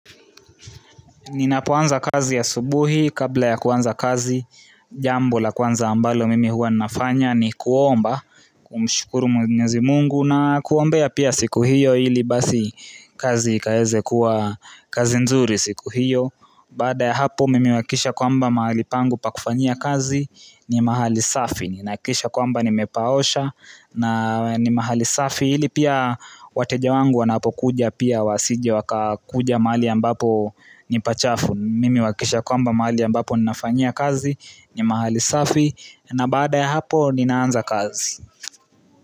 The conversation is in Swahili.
Ninapoanza kazi asubuhi kabla ya kuanza kazi jambo la kuanza ambalo mimi huwa nafanya ni kuomba kumshukuru mwenyezi mungu na kuombea pia siku hiyo ili basi kazi ikaeze kuwa kazi nzuri siku hiyo Baada ya hapo mimi huakisha kwamba mahali pangu pakufanyia kazi ni mahali safi Ninahakisha kwamba nimepaosha na ni mahali safi ili pia wateja wangu wanapo kuja pia wasije waka kuja mahali ambapo ni pachafu Mimi huakisha kwamba mahali ambapo ninafanya kazi ni mahali safi na baada ya hapo ninaanza kazi.